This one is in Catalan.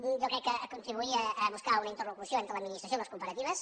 jo crec que contribuïa a buscar una interlocució entre l’administració i les cooperatives